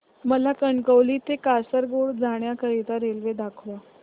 मला कणकवली ते कासारगोड जाण्या करीता रेल्वे दाखवा